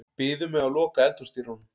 Biður mig að loka eldhúsdyrunum.